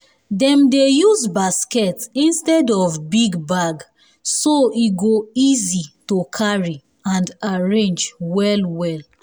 dem dey use basket instead of big bag so e go easy um to carry and arrange well well